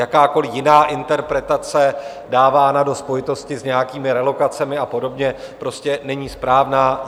Jakákoliv jiná interpretace dávaná do spojitosti s nějakými relokacemi a podobně prostě není správná.